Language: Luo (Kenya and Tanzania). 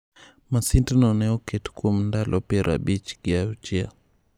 Masindno ne oket kuom ndalo piero abich gi auchiel.